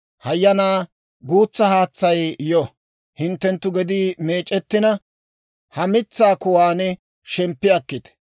Hayanaa guutsa haatsay yo; hinttenttu gedii meec'ettina, ha mitsaa kuwaan shemppi akkite.